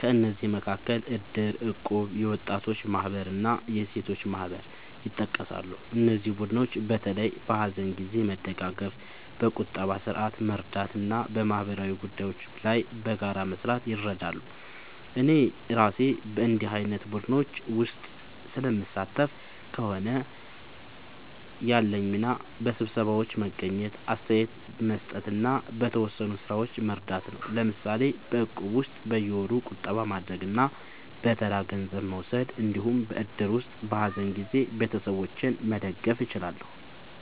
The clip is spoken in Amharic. ከእነዚህ መካከል እድር፣ እቁብ፣ የወጣቶች ማህበር እና የሴቶች ማህበር ይጠቀሳሉ። እነዚህ ቡድኖች በተለይ በሀዘን ጊዜ መደጋገፍ፣ በቁጠባ ስርዓት መርዳት እና በማህበራዊ ጉዳዮች ላይ በጋራ መስራት ይረዳሉ። እኔ እራሴ በእንዲህ ዓይነት ቡድኖች ውስጥ ስለምሳተፍ ከሆነ፣ ያለኝ ሚና በስብሰባዎች መገኘት፣ አስተያየት መስጠት እና በተወሰኑ ሥራዎች መርዳት ነው። ለምሳሌ በእቁብ ውስጥ በየወሩ ቁጠባ ማድረግ እና በተራ ገንዘብ መውሰድ እንዲሁም በእድር ውስጥ በሀዘን ጊዜ ቤተሰቦችን መደገፍ እችላለሁ።